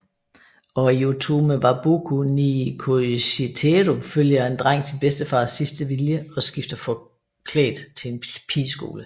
Og i Otome wa Boku ni Koishiteru følger en dreng sin bedstefars sidste vilje og skifter forklædt til en pigeskole